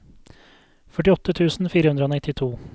førtiåtte tusen fire hundre og nittito